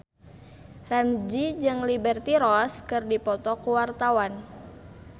Ramzy jeung Liberty Ross keur dipoto ku wartawan